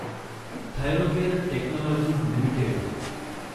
Thyrocare Technologies limited